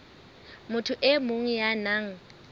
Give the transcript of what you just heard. motho e mong ya nang